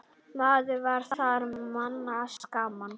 Maður var þar manns gaman.